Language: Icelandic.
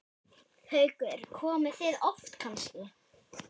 Haukur: Og komið oft kannski?